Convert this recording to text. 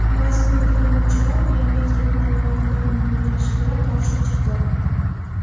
Ba’zi foydalanuvchilar biometrik ma’lumotlarning yig‘ilishiga qarshi chiqdi.